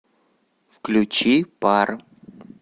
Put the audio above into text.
включи пар